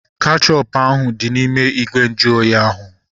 Kechọpu ahu dị n'ime ìgwè nju oyi ahu